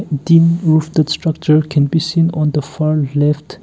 dim roof the structure can be seen on the far left.